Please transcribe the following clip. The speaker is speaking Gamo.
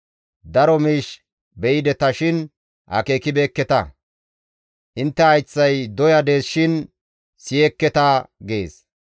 Daro miish be7ideta shin akeekibeekketa; intte hayththay doya dees shin siyekketa» gees.